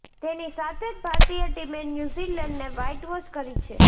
તેની સાથે જ ભારતીય ટીમે ન્યૂઝીલેન્ડને વ્હાઈટવોશ કરી છે